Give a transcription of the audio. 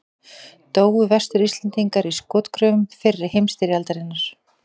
Dóu Vestur-Íslendingar í skotgröfum fyrri heimstyrjaldarinnar?